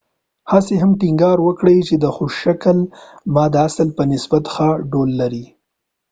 هسیه هم ټينګار وکړ چې د خوش شکل ما د اصل په نسبت ښه ډول لري